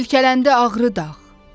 Silkələndi Ağrı dağ.